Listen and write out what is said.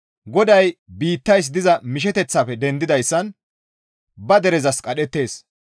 GODAY biittays diza misheteththafe dendidayssan ba derezas qadhettides.